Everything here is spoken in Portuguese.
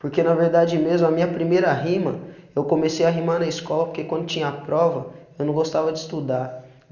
Porque na verdade mesmo a minha primeira rima, eu comecei a rimar na escola porque quando tinha a prova eu não gostava de estudar.